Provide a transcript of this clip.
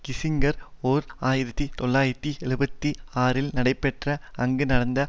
Kissinger ஓர் ஆயிரத்தி தொள்ளாயிரத்து எழுபத்தி ஆறில் நடைபெற்ற அங்கு நடந்த